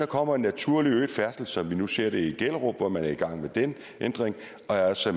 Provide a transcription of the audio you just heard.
kommer en naturligt øget færdsel som nu vi ser det i gellerup hvor man er i gang med den ændring altså